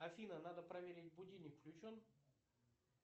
афина надо проверить будильник включен